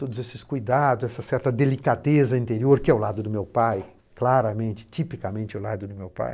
Todos esses cuidados, essa certa delicadeza interior, que é o lado do meu pai, claramente, tipicamente o lado do meu pai.